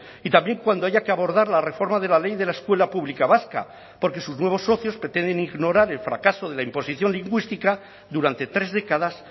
y también cuando haya que abordar la reforma de la ley de la escuela pública vasca porque sus nuevos socios pretenden ignorar el fracaso de la imposición lingüística durante tres décadas